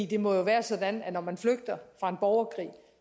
det må jo være sådan at når man flygter fra en borgerkrig